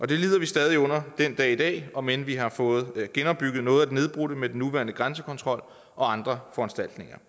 det lider vi stadig under den dag i dag om end vi har fået genopbygget noget af det nedbrudte med den nuværende grænsekontrol og andre foranstaltninger